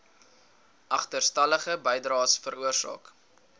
agterstallige bydraes veroorsaak